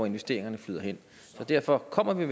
investeringerne flyder hen så derfor kommer vi